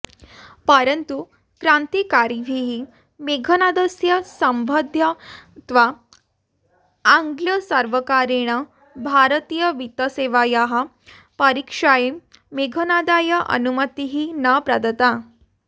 परन्तु क्रान्तिकारिभिः मेघनादस्य सम्बन्धत्वा आङ्ग्लसर्वकारेण भारतीयवित्तसेवायाः परीक्षायै मेघनादाय अनुमतिः न प्रदत्ता